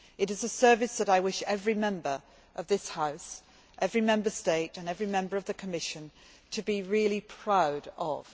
It is a service that I wish every Member of this House, every Member State, and every Member of the Commission to be really proud of.